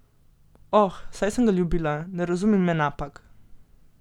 Oh, saj sem ga ljubila, ne razumi me napak.